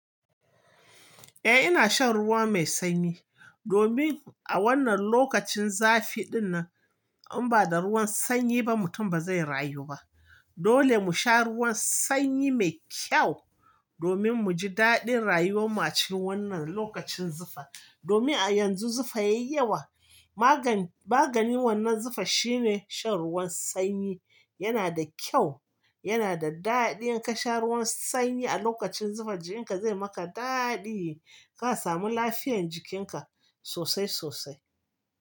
Eh ina shan ruwa mai sanyi, domin a wannan lokacin zafi din nan in ba da ruwan sanyi ba mutum ba zai rayu ba. Dole mu sha ruwan sanyi mai kyau domin mu ji daɗin rayuwan mu cikin wannan lokacin zafi. Domin a yanzu zufa yayi yawa. Maganin wannan zufa shine shan ruwan sanyi. Yana da kyau, yana da daɗi in ka sha ruwan sanyi a lokacin zufa jikinka zai maka daɗi. Ka samu lafiyan jikinka sosai sosai.